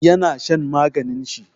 Ya na shan maganin shi.